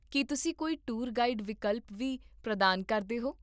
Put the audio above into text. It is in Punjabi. ਕੀ ਤੁਸੀਂ ਕੋਈ ਟੂਰ ਗਾਈਡ ਵਿਕਲਪ ਵੀ ਪ੍ਰਦਾਨ ਕਰਦੇ ਹੋ?